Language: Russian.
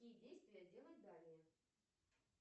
какие действия делать далее